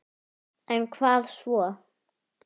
En hvað svo??